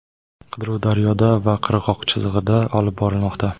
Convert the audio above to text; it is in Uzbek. Qidiruv daryoda va qirg‘oq chizig‘ida olib borilmoqda.